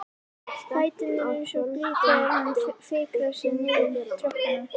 Fæturnir eins og blý þegar hann fikrar sig niður tröppurnar.